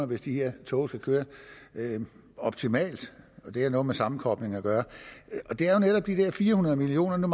hvis de her tog skal køre optimalt det har noget med sammenkoblingen at gøre det er jo netop de der fire hundrede million kroner